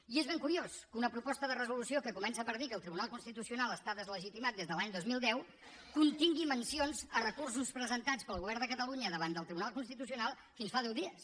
i és ben curiós que una proposta de resolució que comença per dir que el tribunal constitucional està deslegitimat des de l’any dos mil deu contingui mencions a recursos presentats pel govern de catalunya davant del tribunal constitucional fins fa deu dies